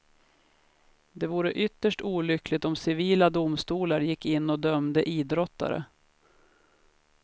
Det vore ytterst olyckligt om civila domstolar gick in och dömde idrottare.